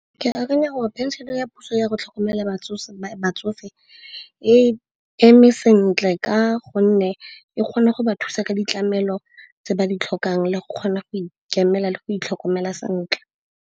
Ke akanya gore phenšene ya puso yago tlhokomela batsofe e eme sentle ka gonne e kgona go ba thusa ka ditlamelo tse ba di tlhokang, le go kgona go ikemela le go itlhokomela sentle.